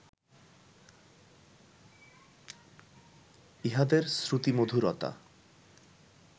ইহাদের শ্রুতিমধুরতা